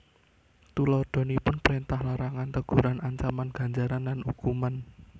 Tuladhanipun prèntah larangan teguran ancaman ganjaran lan hukuman